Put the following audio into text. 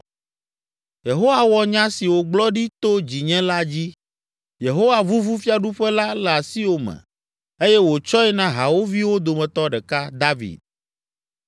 Yehowa wɔ nya si wògblɔ ɖi to dzinye la dzi. Yehowa vuvu fiaɖuƒe la le asiwò me eye wòtsɔe na hawòviwo dometɔ ɖeka, David.